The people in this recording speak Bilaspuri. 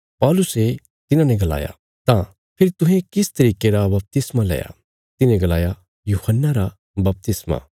पौलुसे तिन्हांने गलाया तां फेरी तुहें किस तरिके रा बपतिस्मा लया तिन्हें गलाया यूहन्ना रा बपतिस्मा